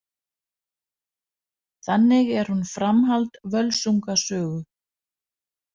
Þannig er hún framhald Völsunga sögu.